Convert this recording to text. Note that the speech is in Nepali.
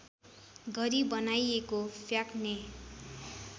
गरी बनाइएको फ्याक्ने